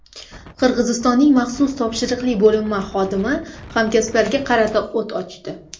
Qirg‘iziston maxsus topshiriqli bo‘linma xodimi hamkasblariga qarata o‘t ochdi.